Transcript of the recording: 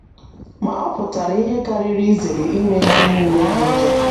Ma, ọ pụtara ihe karịrị izere ime ihe nile dị njọ.